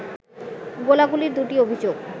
গোলাগুলির দুটি অভিযোগ